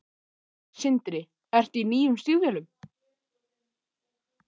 Sindri: Ertu í nýjum stígvélum?